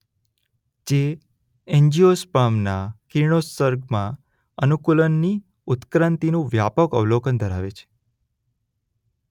જે એન્જિઓસ્પર્મ્સના કિરણોત્સર્ગમાં અનુકૂલનોની ઉત્ક્રાંતિનું વ્યાપક અવલોકન ધરાવે છે.